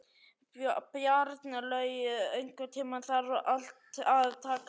Bjarnlaug, einhvern tímann þarf allt að taka enda.